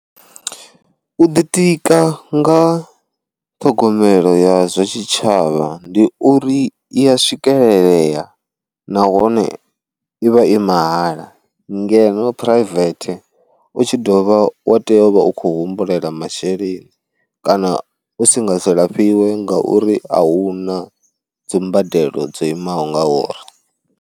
U ḓitika nga ṱhogomelo ya zwa tshitshavha ndi uri i ya swikelelea nahone ivha i mahala, ngeno private u tshi dovha wa tea u vha u khou humbulela masheleni kana u si nga si lafhiwe nga uri a huna dzi mbadelo dzo imaho nga uri.